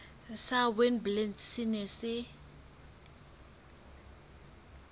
sa witblits se neng se